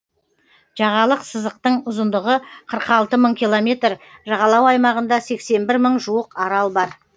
жағалық сызықтың ұзындығы қырық алты мың километр жағалау аймағында сексен бір мың жуық арал бар